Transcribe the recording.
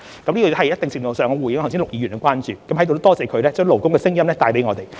這是在一定程度上回應陸議員的關注，在此亦感謝他把勞工的聲音帶給我們。